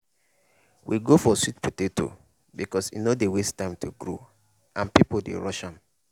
we go for sweet potato because e no dey waste time to grow and people dey rush am.